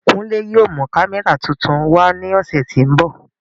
Kunle yóò mu kamẹra tuntun wa ni ọsẹ ti n bọ.